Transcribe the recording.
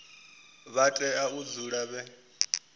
vha tea u dzula vhe